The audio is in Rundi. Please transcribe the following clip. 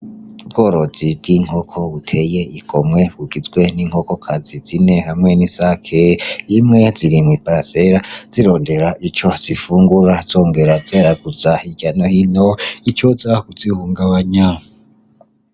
Ubworozi bw'inkoko buteye igomwe bugizwe n' inkokokazi zine hamwe n'isake imwe ziri mwi parasera zirondera ico zifungura zongera zeraguza hirya no hino icoza kuzihungabanya.